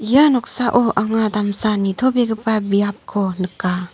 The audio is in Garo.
ia noksao anga damsa nitobegipa biapko nika.